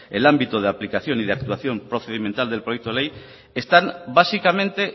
el ámbito de aplicación y de actuación procedimental del proyecto ley están básicamente